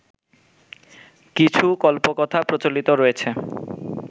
কিছু কল্পকথা প্রচলিত রয়েছে